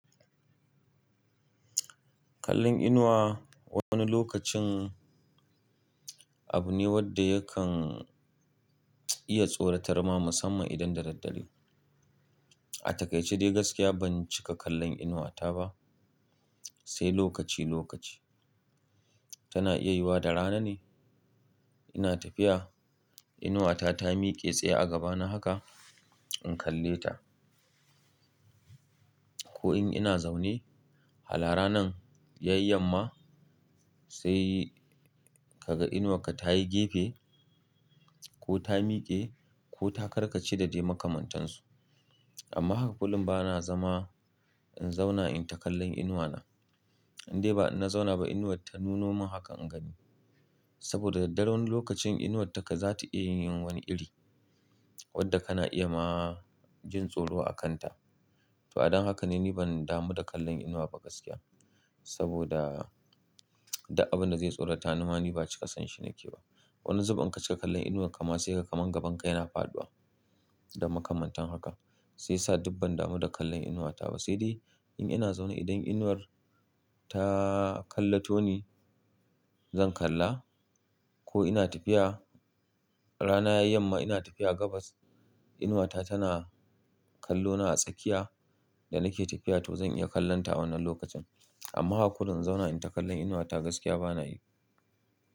Kallon inuwa wani lokacin abu ne wanda yakan iya tsoratar ma musamman idan da daddare. A takaice dai gaskiya ban cika kallon inuwata ba, sai lokaci lokaci. Tana iya yiwuwa da rana ne ina tafiya, inuwata ta miƙe tsaye a gabana haka in kalle ta. Ko in ina zaune, hala ranan yayi yamma sai ka ga inuwarka ta yi gefe ko ta miƙe ko ta karka ce da dai makamantansu. Amma haka kullum ba na zama in zauna in ta kallon inuwana. Dai ba in na zauna ba inuwar ta nuno min haka in gani. Saboda daddare wani lokacin inuwarka za ta iya yin wani iri wadda kana iya ma jin tsoro a kanta. To a dan haka ne ni ban damu da kallon inuwa ba gaskiya. Saboda duk abin da zai tsorata nima ba cika san shi nake ba. Wani zubin in kacika kallon inuwar ka ma sai ka ga kamar gaban ka yana faɗuwa da makamantan haka. Sai sa dibban damu da kallon inuwata ba, sai dai in ina zaune idan inuwar taa kalla to ni zan kalla ko ina tafiya rana yayi yamma ina tafiya gabas inuwata tana kallona a tsakiya da nake tafiya to zan iya kallon ta wannan lokacin. Amma haka kurum in zauna in ta kallon inuwata gaskiya bana yi.